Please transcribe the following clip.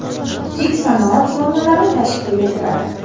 Kichik sanoat zonalari tashkil etiladi.